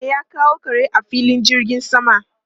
Me ya kawo kare a filin jirgin sama?